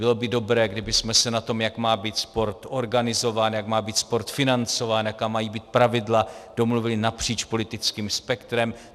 Bylo by dobré, kdybychom se na tom, jak má být sport organizován, jak má být sport financován, jaká mají být pravidla, domluvili napříč politickým spektrem.